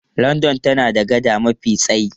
London tana da gada mafi tsayi.